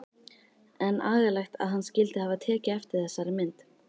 En agalegt að hann skyldi hafa tekið eftir þessari mynd.